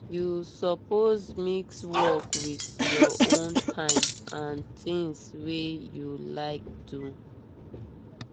you suppose mix work with your own time and things wey you like do.